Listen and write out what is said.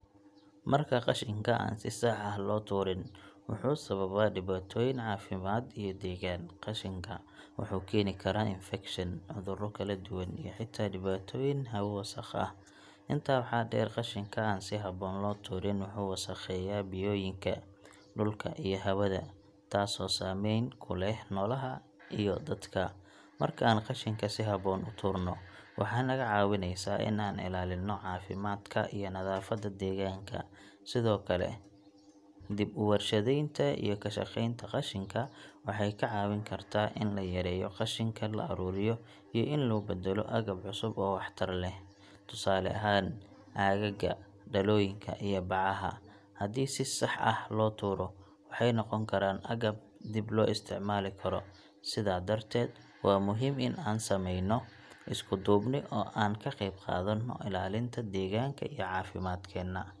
Marka qashinka aan si sax ah loo tuurin, wuxuu sababaa dhibaatooyin caafimaad iyo deegaan. Qashinka wuxuu keeni karaa infekshan, cuduro kala duwan, iyo xitaa dhibaatooyin hawo wasakh ah. Intaa waxaa dheer, qashinka aan si habboon loo tuurin wuxuu wasakheeyaa biyooyinka, dhulka, iyo hawada, taasoo saameyn ku leh noolaha iyo dadka. Marka aan qashinka si habboon u tuurno, waxay naga caawineysaa in aan ilaalino caafimaadka iyo nadaafadda deegaanka. Sidoo kale, dib u warshadaynta iyo ka shaqeynta qashinka waxay ka caawin kartaa in la yareeyo qashinka la ururiyo iyo in loo beddelo agab cusub oo waxtar leh. Tusaale ahaan, caagagga, dhalooyinka iyo bacaha, haddii si sax ah loo tuuro, waxay noqon karaan agab dib loo isticmaali karo. Sidaa darteed, waa muhiim in aan sameyno isku duubni oo aan ka qayb qaadano ilaalinta deegaanka iyo caafimaadkeenna.